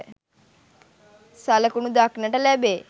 සලකුණු දක්නට ලැබේ.